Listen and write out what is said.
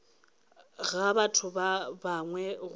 ga batho ba bangwe go